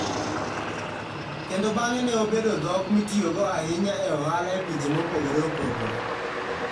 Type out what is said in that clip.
Kendo bang'e ne obedo dhok mitiyogo ahinya e ohala e pinje mopogore opogore.